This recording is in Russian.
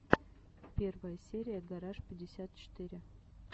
первая серия гараж пятьдесят четыре